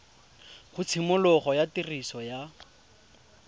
ga tshimologo ya tiriso ya